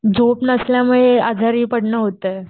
झोप नसल्यामुळे आजारी पडणं होतंय.